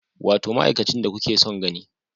Wato ma'aikacin da kuke son gani